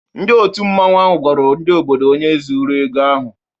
Ndị òtù Mmanwu ahụ gwara ndị obodo onye zuru ego ahụ.